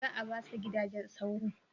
Za a ba su gidajen sauro?